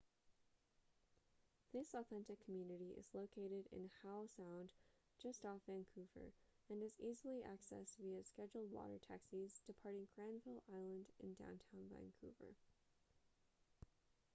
this authentic community is located in howe sound just off vancouver and is easily accessed via scheduled water taxis departing granville island in downtown vancouver